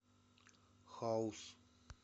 хаус